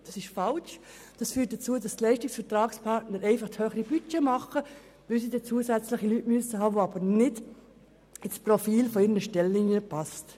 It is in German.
Das ist falsch und führt dazu, dass die Leistungsvertragspartner einfach höhere Budgets erstellen, weil sie zusätzliche Personen anstellen müssen, die nicht in ihre Stellenprofile passen.